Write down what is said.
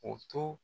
O to